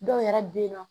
Dɔw yɛrɛ bɛ yen nɔ